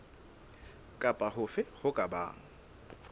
kapa hofe ho ka bang